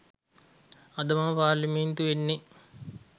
අද මම පාර්ලිමේන්තු එන්නේ